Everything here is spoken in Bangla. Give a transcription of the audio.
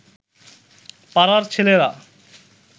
পাড়ার ছেলেরা